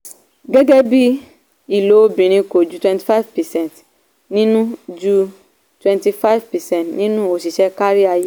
gẹ́gẹ́ bí ilo obìnrin kò ju twenty five percent nínú ju twenty five percent nínú òṣìṣẹ́ kárí ayé.